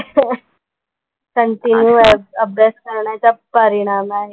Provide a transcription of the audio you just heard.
Continue अब अभ्यास करण्याचा परिणाम आहे.